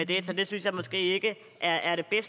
det synes jeg måske ikke er